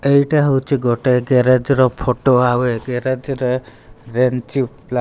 ଏଇଟା ହଉଛି ଗୋଟେ ଗେରେଜେର ର ଫଟ ଆଉ ଏ ଗେରେଜେରେ ରେ ରେଞ୍ଚି ପ୍ଲା --